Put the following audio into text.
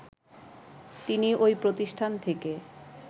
তিনি ওই প্রতিষ্ঠান থেকে